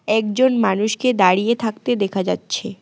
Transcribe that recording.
একজন মানুষকে দাঁড়িয়ে থাকতে দেখা যাচ্ছে।